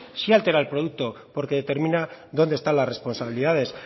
sí altera el producto porque determina dónde están las responsabilidades